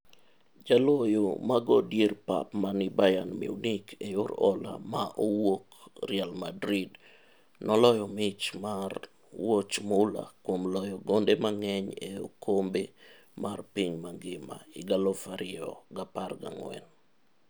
Jaloyo mago dier pap mani Bayern Munich e yor hola ma owuok Real Madrid, noloyo mich mar wuoch mula kuom loyo gonde mang'eny e okombe mar piny ngima 2014.